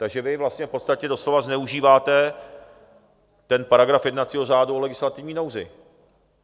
Takže vy vlastně v podstatě doslova zneužíváte ten paragraf jednacího řádu o legislativní nouzi.